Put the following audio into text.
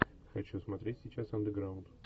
хочу смотреть сейчас андеграунд